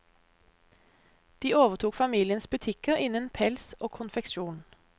De overtok familiens butikker innen pels og konfeksjon.